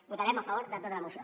votarem a favor de tota la moció